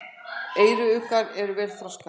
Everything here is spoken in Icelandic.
Eyruggar eru vel þroskaðir.